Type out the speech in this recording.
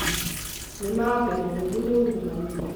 Nĩ maa atĩ mũhuhu nĩ ungumania